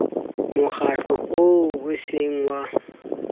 mokgatlo oo e seng wa